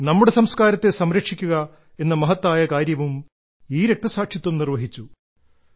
നമ്മുടെ സംസ്കാരത്തെ സംരക്ഷിക്കുക എന്ന മഹത്തായ കാര്യവും ഈ രക്തസാക്ഷിത്വം നിർവ്വഹിച്ചു